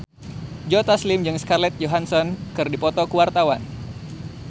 Joe Taslim jeung Scarlett Johansson keur dipoto ku wartawan